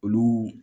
Olu